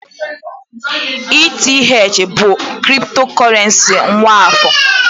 ETH bụ kriptokurrency nwa afọ